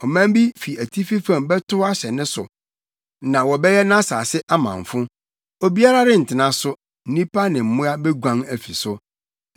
Ɔman bi fi atifi fam bɛtow ahyɛ ne so na wɔbɛyɛ nʼasase amamfo. Obiara rentena so; nnipa ne mmoa beguan afi so.